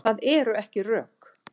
Það eru ekki rök.